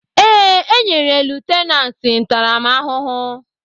Èè, enyere lutenanti ntaramahụhụ.